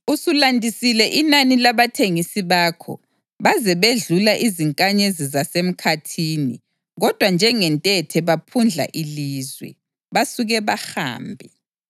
Usulandisile inani labathengisi bakho. Baze bedlula izinkanyezi zasemkhathini, kodwa njengentethe baphundla ilizwe basuke bahambe.